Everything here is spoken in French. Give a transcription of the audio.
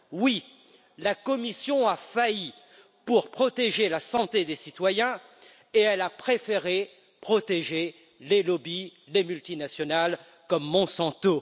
Oui, la Commission a failli à protéger la santé des citoyens et elle a préféré protéger les lobbies des multinationales comme Monsanto.